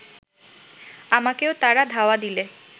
আমাকেও তারা ধাওয়া দিলে